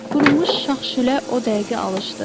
Qurumuş şax-şülə o dəqiqə alışdı.